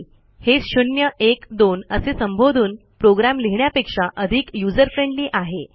हे शून्य एक दोन असे संबोधून प्रोग्रॅम लिहिण्यापेक्षा अधिक यूझर फ्रेंडली आहे